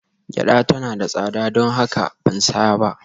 Gyada tana da tsada, don haka ban saya ba